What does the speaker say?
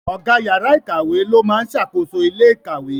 Ọ̀gá yàrá ikawe ló máa ń ṣàkóso ilé ikawe.